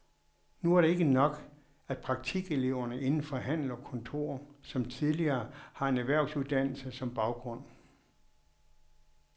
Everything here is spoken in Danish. Nu er det ikke nok, at praktikeleverne inden for handel og kontor som tidligere har en erhvervsuddannelse som baggrund.